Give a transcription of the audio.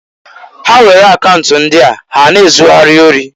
Ha were akaunt ndịa ha na-ezugharị ori.